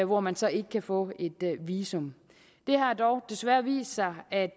hvor man så ikke kan få et visum det har dog desværre vist sig at